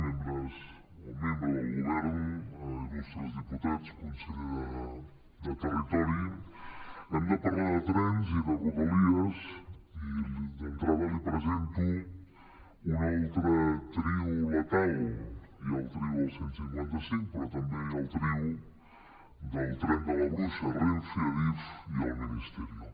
membres o membre del govern il·lustres diputats conseller de territori hem de parlar de trens i de rodalies i d’entrada li presento un altre trio letal hi ha el trio del cent i cinquanta cinc però també hi ha el trio del tren de la bruixa renfe adif i el ministerio